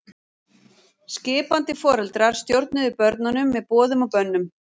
Skipandi foreldrar stjórnuðu börnunum með boðum og bönnum.